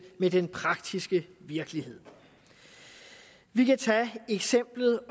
med den praktiske virkelighed vi kan tage eksemplet